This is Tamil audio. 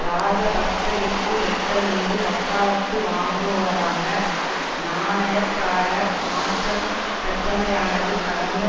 இராஜபக்ஷவிற்கு வெட்கமின்றி வக்காலத்து வாங்குபவராக நாணயக்கார மாற்றம் பெற்றமையானது கடந்த